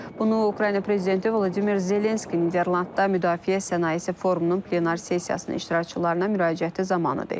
Bunu Ukrayna prezidenti Vladimir Zelenski Niderlandda Müdafiə Sənayesi forumunun plenar sessiyasının iştirakçılarına müraciəti zamanı deyib.